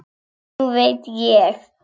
Nú veit ég.